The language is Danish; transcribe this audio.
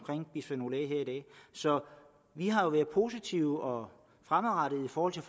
bisfenol a så vi har jo været positive og fremadrettede i forhold til